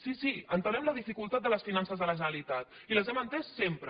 sí sí entenem la dificultat de les finances de la generalitat i les hem enteses sempre